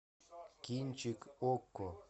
кинчик окко